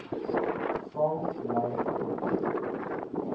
sal lei tot